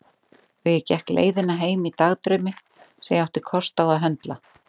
Og ég gekk leiðina heim í dagdraumi sem ég átti kost á að höndla.